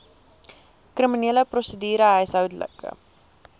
kriminele prosedure huishoudelike